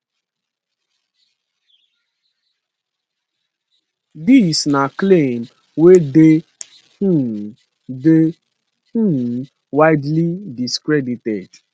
dis na claim wey dey um dey um widely discredited